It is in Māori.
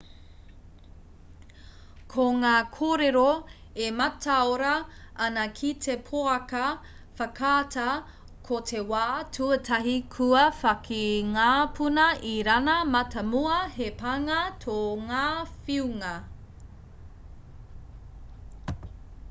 ko ngā kōrero e mataora ana ki te pouaka whakaata ko te wā tuatahi kua whāki ngā puna irāna mātāmua he pānga tō ngā whiunga